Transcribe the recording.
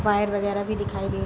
wire वगैरा भी दिखाई दे --